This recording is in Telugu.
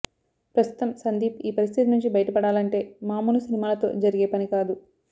ప్రస్తుతం సందీప్ ఈ పరిస్థితి నుంచి బయటపడాలంటే మాములు సినిమాలతో జరిగే పని కాదు